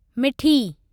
मिठी